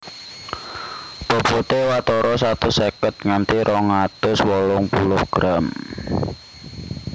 Bobote watara satus seket nganti rong atus wolung puluh gram